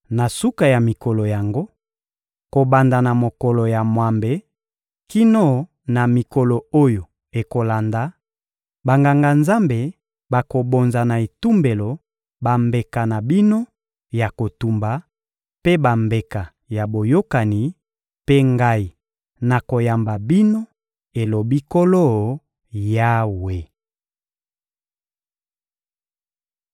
Na suka ya mikolo yango, kobanda na mokolo ya mwambe kino na mikolo oyo ekolanda, Banganga-Nzambe bakobonza na etumbelo bambeka na bino ya kotumba mpe bambeka ya boyokani, mpe Ngai, nakoyamba bino, elobi Nkolo Yawe.»